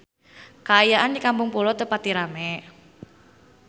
Kaayaan di Kampung Pulo teu pati rame